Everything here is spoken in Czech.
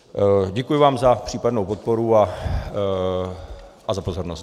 Děkuji vám za případnou podporu a za pozornost.